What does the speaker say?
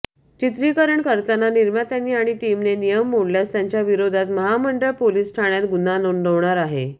चित्रीकरण करताना निर्मात्यांनी आणि टीमनं नियम मोडल्यास त्यांच्या विरोधात महामंडळ पोलिस ठाण्यात गुन्हा नोंदवणार आहे